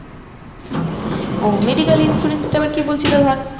যে medical insurance টা আবার কি বলছিলো ধর